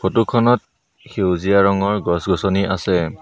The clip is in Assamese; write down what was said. ফটো খনত সেউজীয়া ৰঙৰ গছ-গছনি আছে।